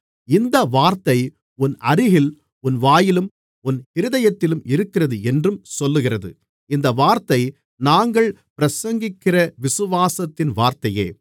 இந்த வார்த்தை உன் அருகில் உன் வாயிலும் உன் இருதயத்திலும் இருக்கிறது என்றும் சொல்லுகிறது இந்த வார்த்தை நாங்கள் பிரசங்கிக்கிற விசுவாசத்தின் வார்த்தையே